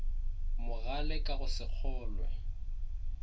mogale ka go se kgolwe